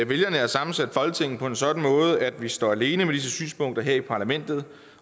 vælgerne har sammensat folketinget på en sådan måde at vi står alene med disse synspunkter her i parlamentet